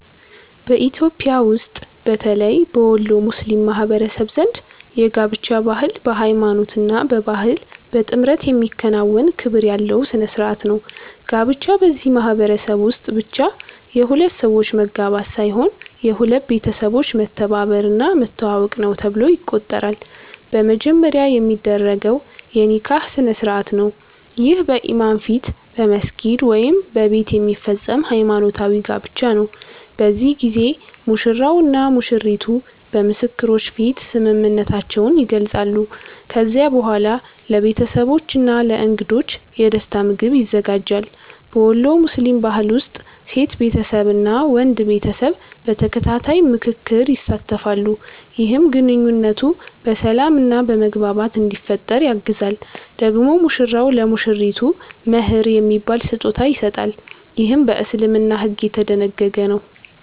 በኢትዮጵያ ውስጥ በተለይ በወሎ ሙስሊም ማህበረሰብ ዘንድ የጋብቻ ባህል በሃይማኖት እና በባህል በጥምረት የሚከናወን ክብር ያለው ሥነ ሥርዓት ነው። ጋብቻ በዚህ ማህበረሰብ ውስጥ ብቻ የሁለት ሰዎች መጋባት ሳይሆን የሁለት ቤተሰቦች መተባበር እና መተዋወቅ ነው ተብሎ ይቆጠራል። በመጀመሪያ የሚደረገው የ“ኒካህ” ስነ-ሥርዓት ነው። ይህ በኢማም ፊት በመስጊድ ወይም በቤት የሚፈጸም ሃይማኖታዊ ጋብቻ ነው። በዚህ ጊዜ ሙሽራው እና ሙሽሪቱ በምስክሮች ፊት ስምምነታቸውን ይገልጻሉ። ከዚያ በኋላ ለቤተሰቦች እና ለእንግዶች የደስታ ምግብ ይዘጋጃል። በወሎ ሙስሊም ባህል ውስጥ ሴት ቤተሰብ እና ወንድ ቤተሰብ በተከታታይ ምክክር ይሳተፋሉ፣ ይህም ግንኙነቱ በሰላም እና በመግባባት እንዲፈጠር ያግዛል። ደግሞ ሙሽራው ለሙሽሪቱ “መህር” የሚባል ስጦታ ይሰጣል፣ ይህም በእስልምና ሕግ የተደነገገ ነው።